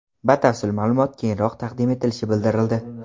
Batafsil ma’lumot keyinroq taqdim etilishi bildirildi.